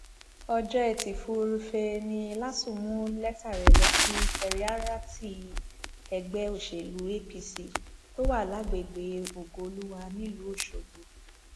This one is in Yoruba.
ọjọ etí furuufee ni lásun mú lẹtà rẹ lọ sí kẹririatí ẹgbẹ òsèlú apc tó wà lágbègbè ògoolúwà nílùú ọṣọgbó